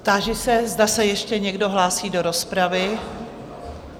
Táži se, zda se ještě někdo hlásí do rozpravy?